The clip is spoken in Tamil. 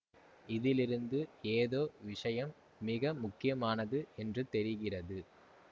இதிலிருந்து ஏதோ விஷயம் மிக முக்கியமானது என்று தெரிகிறது